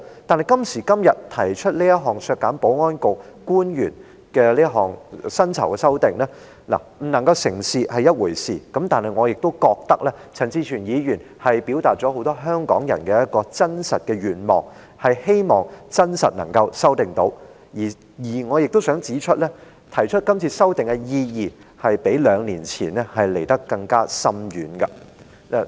但今時今日提出這項削減保安局官員薪酬的修正案，不能成事是一回事，但我覺得陳志全議員畢竟表達了很多香港人的一個真實願望，便是希望能夠修訂議案；而我亦想指出，今次提出修正案的意義較兩年前更為深遠。